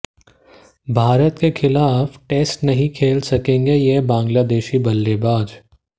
भारत के खिलाफ टेस्ट नहीं खेल सकेगा यह बांग्लादेशी बल्लेबाज